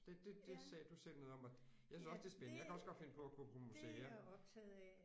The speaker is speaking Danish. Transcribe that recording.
Det det det sagde du selv noget om og jeg synes også det er spændende jeg kan også godt finde på at gå på museer